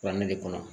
Bannen de kɔnɔ